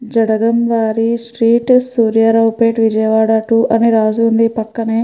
జడగం వారి street Suryaraopet Vijayawada two అని రాసిఉంది.